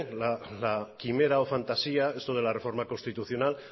la quimera o fantasía eso de la reforma constitucional